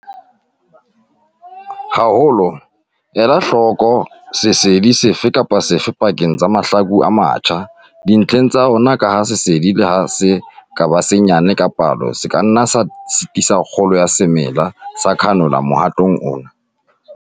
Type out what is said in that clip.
Haholoholo ela hloko sesedi sefe kapa sefe pakeng tsa mahlaku e matjha dintlheng tsa ona ka ha sesedi le ha se ka ba senyane ka palo se ka nna sa sitisa kgolo ya semela sa canola mohatong ona.